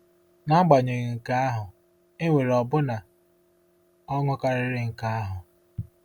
N’agbanyeghị nke ahụ, e nwere ọbụna ọṅụ karịrị nke ahụ.